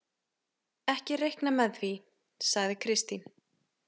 Ekki reikna með því, sagði Kristín.